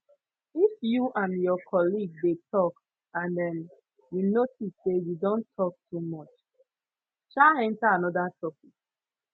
if you and your colleague de tok and um you notice say you don tok too much um enter anoda topic